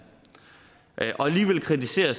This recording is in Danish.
og alligevel kritiserer